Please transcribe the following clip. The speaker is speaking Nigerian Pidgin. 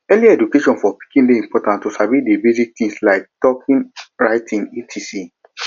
early education for pikin de important to sabi di basic things like talking writing etc